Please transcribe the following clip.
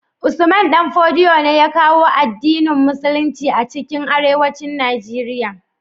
Usman danfodiyo ne ya kawo addinin musulicin ace arewacin nigeria